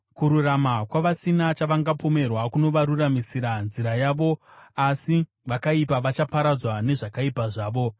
Kururama kwavasina chavangapomerwa kunovaruramisira nzira yavo, asi vakaipa vachaparadzwa nezvakaipa zvavo.